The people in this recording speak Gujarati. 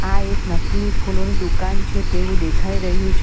આ એક નકલી ફૂલોની દુકાન છે તેવું દેખાઈ રહ્યું છે.